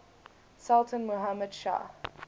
sultan muhammad shah